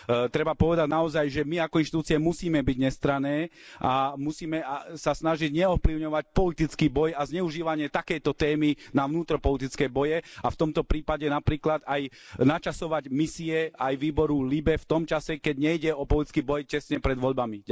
Treba povedať naozaj, že my ako inštitúcie musíme byť nestranné a musíme sa snažiť neovplyvňovať politický boj a zneužívanie takejto témy na vnútropolitické boje a v tomto prípade napríklad aj načasovať misie aj výboru LIBE v tom čase, keď nejde o politický boj tesne pred voľbami.